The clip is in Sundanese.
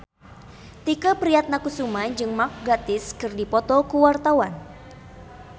Tike Priatnakusuma jeung Mark Gatiss keur dipoto ku wartawan